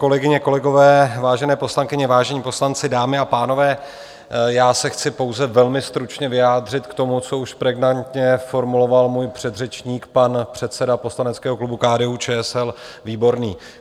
Kolegyně, kolegové, vážené poslankyně, vážení poslanci, dámy a pánové, já se chci pouze velmi stručně vyjádřit k tomu, co už pregnantně formuloval můj předřečník, pan předseda poslaneckého klubu KDU-ČSL Výborný.